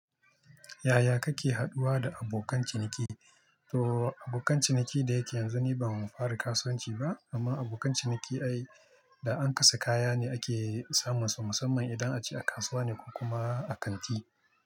Yaya kake haduwa da abokan ciniki? To abokan ciniki da yake yanzu ni ban fara kasuwanci ba amma abokan ciniki ai da an kasa kaya ne ake samun su musamman idan ace a kasuwa ne ko kuma a kanti.